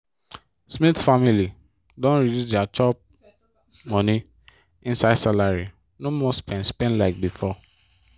smith family don reduce dia chop-money inside salary no more spend spend like before.